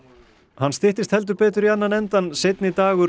hann styttist heldur betur í annan endann seinni dagur